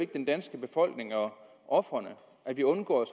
den danske befolkning og ofrene at vi undgår